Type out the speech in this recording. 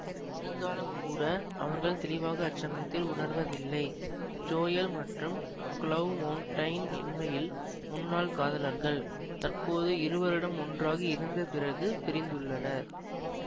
இருந்தாலும் கூட அவர்கள் தெளிவாக அச்சமயத்தில் உணர்வதில்லை ஜோயல் மற்றும் க்ளோவ் மௌண்டைன் உண்மையில் முன்னாள் காதலர்கள் தற்போது இரு வருடம் ஒன்றாக இருந்தப் பிறகு பிரிந்துள்ளனர்